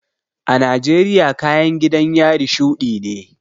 A Najeriya kayan gidan yari shuɗi ne